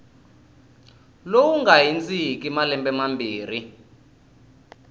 lowu nga hundziki malembe mambirhi